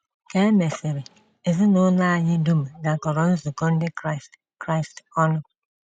Ka e mesịrị, ezinụlọ anyị dum gakọrọ nzukọ ndị Kraịst Kraịst ọnụ.